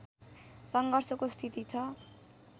सङ्घर्षको स्थिति छ